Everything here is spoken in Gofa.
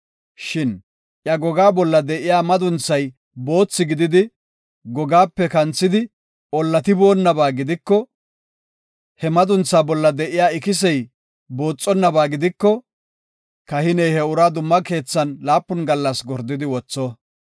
Shin iya gogaa bolla de7iya madunthay boothi gididi, gogaape kanthidi ollatiboonaba gidiko he madunthaa bolla de7iya ikisey booxonnaba gidiko, kahiney he uraa dumma keethan laapun gallas gordidi wotho.